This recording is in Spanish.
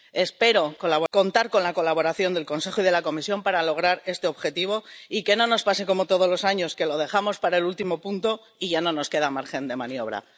Espero contar con la colaboración del Consejo y de la Comisión para lograr este objetivo y que no nos pase como todos los años, que lo dejamos para el último punto y ya no nos queda margen de maniobra.